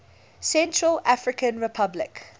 central african republic